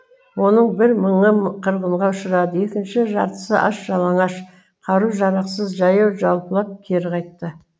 оның бір мыңы қырғынға ұшырады екінші жартысы аш жалаңаш қару жарақсыз жаяу жалпылап кері қайтты